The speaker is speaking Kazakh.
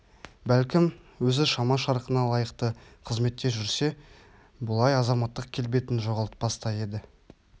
бәлкім өзі шама-шарқына лайықты қызметте жүрсе бұлай азаматтық келбетін жоғалтпас та еді